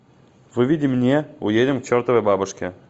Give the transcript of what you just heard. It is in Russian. выведи мне уедем к чертовой бабушке